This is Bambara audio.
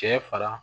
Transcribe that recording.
Cɛ fara